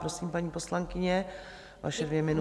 Prosím, paní poslankyně, vaše dvě minuty.